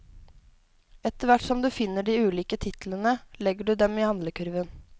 Etter hvert som du finner de ulike titlene, legger du dem i handlekurven.